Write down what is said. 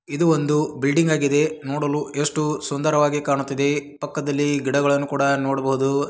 ಇದು ಒಂದು ಬಿಲ್ಡಿಂಗ್ ಆಗಿದೆ. ನೋಡಲು ಎಷ್ಟ್ಟು ಸುಂದರವಾಗಿ ಕಾಣುತ್ತಿದ್ದೆ. . ಪಕ್ಕದಲ್ಲಿ ಗಿಡಗಳನ್ನು ಕೂಡ ನೋಡಬಹುದು.